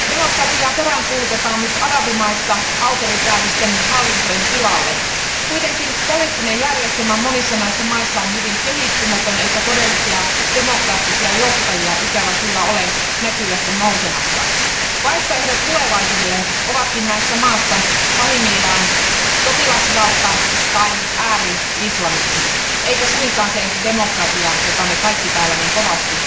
Arvoisa puhemies, hyvät komission jäsenet, demokratiaa peräänkuulutetaan nyt arabimaissa autoritääristen hallintojen tilalle. Kuitenkin poliittinen järjestelmä monissa näissä maissa on hyvin kehittymätön eikä todellisia demokraattisia johtajia ikävä kyllä ole näkyvästi nousemassa. Vaihtoehdot tulevaisuudelle ovatkin näissä maissa pahimmillaan sotilasvalta tai ääri islamismi eikä suinkaan se demokratia, jota me kaikki täällä niin kovasti